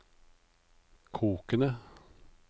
kokende